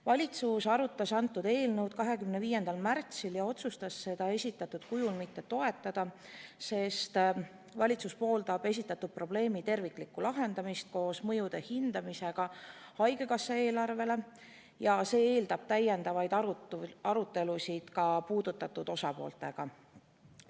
Valitsus arutas eelnõu 25. märtsil ja otsustas seda esitatud kujul mitte toetada, sest valitsus pooldab esitatud probleemi terviklikku lahendamist koos haigekassa eelarvele avalduvate mõjude hindamisega ja see eeldab täiendavaid arutelusid ka puudutatud osapooltega.